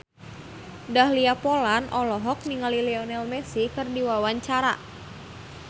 Dahlia Poland olohok ningali Lionel Messi keur diwawancara